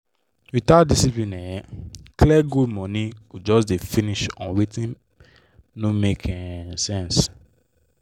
without discipline um and clear goal money go just dey finish on wetin no make um sense.